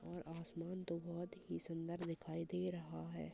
और आसमान तो बहुत ही सुंदर दिखाई दे रहा हैं।